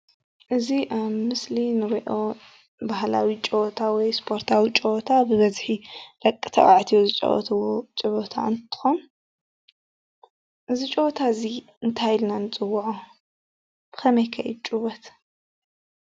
እዚ ኣብ ምስሊ እንሪኦ ባህላዊ ጨወታ ወይ እስፖርታዊ ጨወታ ብበዝሒ ደቂ ተባዕትዮ ዝጫወትዎ ጨወታ እንትኮን እዚ ጨወታ እዚ እንታይ ኢልና ንፅወዖ? ብከመይ ከ እዩ ዝጭወት?